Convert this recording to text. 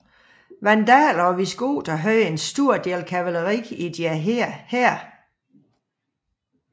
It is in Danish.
Vandalerne og visigoterne havde en stor del kavaleri i deres hære